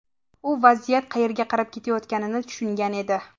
U vaziyat qayerga qarab ketayotganini tushungan edi.